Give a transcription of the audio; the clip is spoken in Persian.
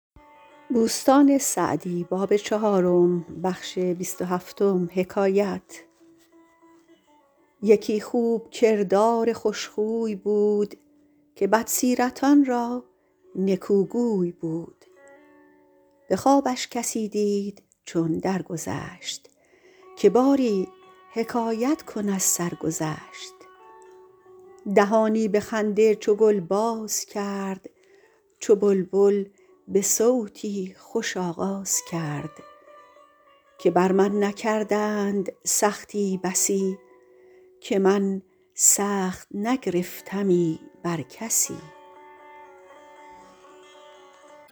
یکی خوب کردار خوش خوی بود که بد سیرتان را نکو گوی بود به خوابش کسی دید چون در گذشت که باری حکایت کن از سرگذشت دهانی به خنده چو گل باز کرد چو بلبل به صوتی خوش آغاز کرد که بر من نکردند سختی بسی که من سخت نگرفتمی بر کسی